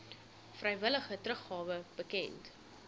vrywillige teruggawe bekend